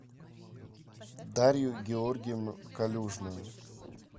дарью георгиевну калюжную